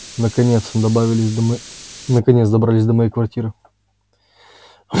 наконец добавили из наконец добрались до моей квартиры